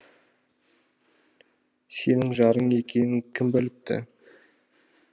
сенің жарың екенін кім біліпті